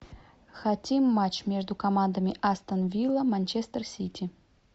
хотим матч между командами астон вилла манчестер сити